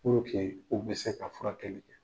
u be se ka furakɛli kɛ.